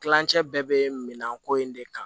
Kilancɛ bɛɛ bɛ minɛn ko in de kan